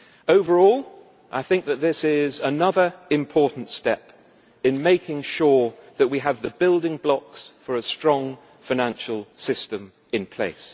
Overall, I think that this is another important step in making sure that we have the building blocks for a strong financial system in place.